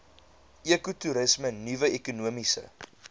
ekotoerisme nuwe ekonomiese